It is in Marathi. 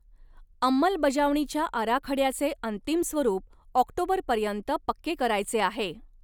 अंमलबजावणीच्या आराखड्याचे अंतीम स्वरूप ऑक्टोबरपर्यंत पक्के करायचे आहे.